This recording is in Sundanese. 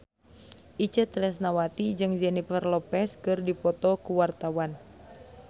Itje Tresnawati jeung Jennifer Lopez keur dipoto ku wartawan